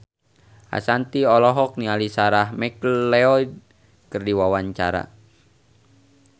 Ashanti olohok ningali Sarah McLeod keur diwawancara